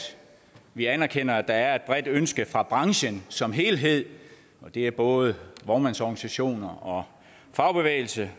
vi anerkender at der er et bredt ønske fra branchen som helhed det er både vognmandsorganisationer og fagbevægelse